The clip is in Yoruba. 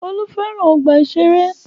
Olú fẹ́ràn ọgbà-ìṣeré.